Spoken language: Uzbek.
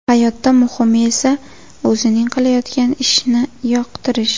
Hayotda muhimi esa o‘zing qilayotgan ishni yoqtirish.